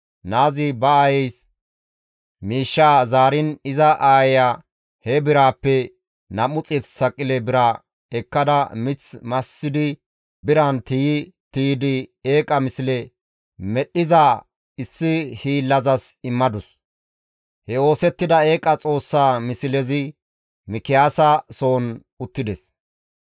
Naazi ba aayeys miishshaa zaariin iza aayeya he biraappe 200 saqile bira ekkada mith massidi biran tiyi tiydi eeqa misle medhdhiza issi hiillazas immadus; he oosettida eeqa xoossaa mislezi Mikiyaasa soon uttides.